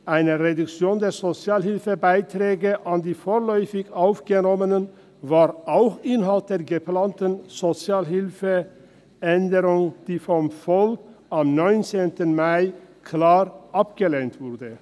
– Eine Reduktion der Sozialhilfebeiträge an die vorläufig Aufgenommenen war auch Inhalt der geplanten SHG-Änderung, die vom Volk am 19. Mai klar abgelehnt wurde.